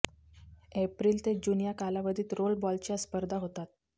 April ते June या कालावधीत रोलबॉलच्या स्पर्धा होतात